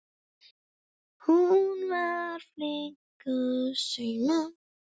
Hún var flink að sauma.